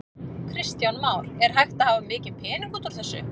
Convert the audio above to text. Kristján Már: Er hægt að hafa mikinn pening út úr þessu?